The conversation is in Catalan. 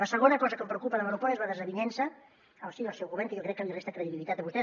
la segona cosa que em preocupa de l’aeroport és la desavinença al si del seu govern que jo crec que li resta credibilitat a vostè